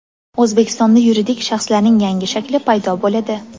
O‘zbekistonda yuridik shaxslarning yangi shakli paydo bo‘ladi.